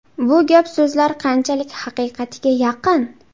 Bu gap-so‘zlar qanchalik haqiqatga yaqin?”.